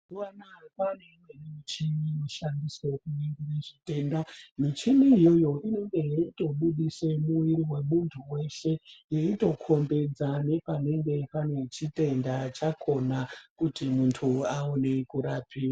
Mazuva anaa kwaane michini inoshandiswe kuningire zvitenda. Muchini iyoyo inenge ichitobudise mwiiri wemuntu weshe yeitokombidza nepanenge pane chitenda chakona kuti muntu aone kurapiwa.